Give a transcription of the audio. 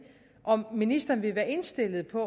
om ministeren vil være indstillet på